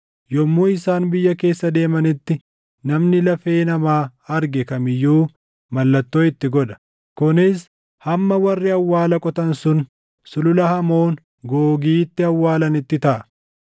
Yommuu isaan biyya keessa deemanitti namni lafee namaa arge kam iyyuu mallattoo itti godha; kunis hamma warri awwaala qotan sun Sulula Hamoon Googiitti awwaalanitti taʼa.